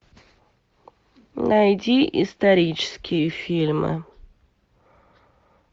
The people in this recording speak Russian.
найди исторические фильмы